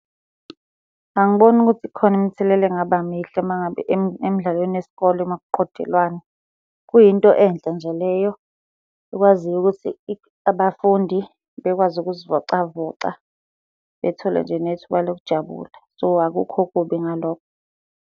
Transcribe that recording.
Angiboni ukuthi khona imithelela engaba mihle uma ngabe emidlalweni yesikole uma kuqhudelwana. Kuyinto enhle nje leyo ekwaziyo ukuthi abafundi bekwazi ukuzivocavoca, bethole nje nethuba lokujabula. So, akukho kubi ngalokho.